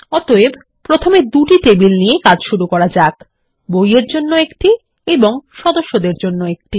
অতএব প্রথমে দুটি টেবিল নিয়ে কাজ শুরু করা যাক বই এর জন্য একটি এবং সদস্যদের জন্য একটি